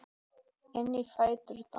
Inn í fæturna.